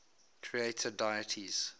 creator deities